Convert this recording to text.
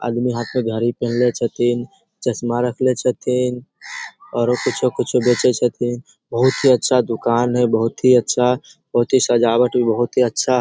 आदमी हाथ मे घड़ी पहेनला छथिन चश्मा रखले छथिन ओरो कुछो-कुछो बेचे छथिन बहुत ही अच्छा दुकान है बहुत ही अच्छा बहुत ही सजावट भी बहुत ही अच्छा --